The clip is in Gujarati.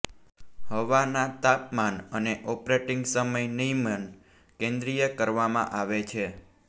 હવાના તાપમાન અને ઓપરેટિંગ સમય નિયમન કેન્દ્રિય કરવામાં આવે છે